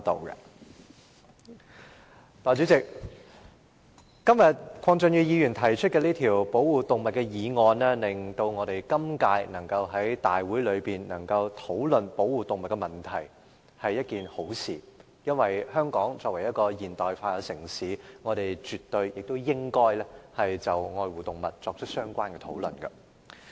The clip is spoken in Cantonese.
代理主席，鄺俊宇議員今天提出這項保護動物的議案，令今屆議員能夠在大會上討論保護動物的問題，是一件好事，因為香港作為現代化城市，我們絕對亦應該就愛護動物作出相關討論。